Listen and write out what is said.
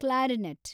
clarinet